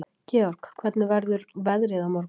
Georg, hvernig verður veðrið á morgun?